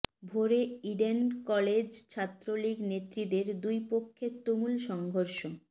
ভোরে Eden college Chhatra League নেত্রীদের দুই পক্ষে তুমুল সংঘর্ষ